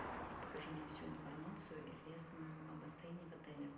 покажи мне всю информацию известную о бассейне в отеле